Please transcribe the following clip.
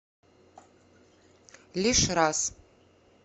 лишь раз